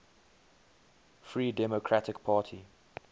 free democratic party